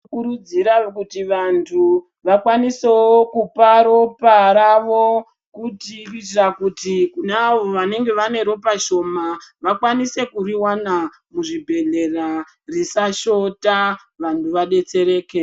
Tinokurudzira kuti vanthu vakwaniseo kupa ropa ravo kuti kuitira kuti kune avo vanenge vane ropa shoma vakwanise kuriwana muzvibhedhlera risashota vanthu vadetsereke.